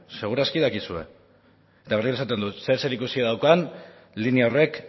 seguraski dakizue eta berriro esaten dut zer zerikusi daukan linea horrek